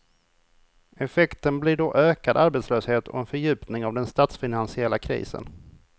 Effekten blir då ökad arbetslöshet och en fördjupning av den statsfinansiella krisen.